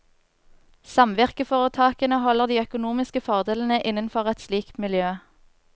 Samvirkeforetakene holder de økonomiske fordelene innenfor et slikt miljø.